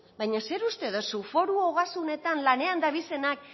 baina zer uste duzu foru ogasunetan lanean dabiltzanak